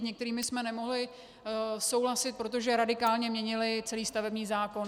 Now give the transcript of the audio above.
S některými jsme nemohli souhlasit, protože radikálně měnily celý stavební zákon.